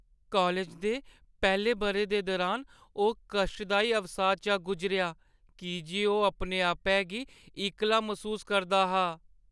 College दे पैह्‌ले बʼरे दे दुरान ओह् कश्टदाई अवसाद चा गुजरेआ की जे ओह् अपने-आपै गी इक्कला मसूस करदा हा।